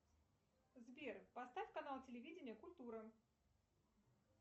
сбер поставь канал телевидения культура